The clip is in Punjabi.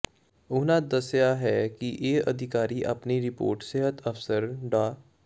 ਉਨ੍ਹਾਂ ਦੱਸਿਆ ਕਿ ਇਹ ਅਧਿਕਾਰੀ ਆਪਣੀ ਰਿਪੋਰਟ ਸਿਹਤ ਅਫ਼ਸਰ ਡਾ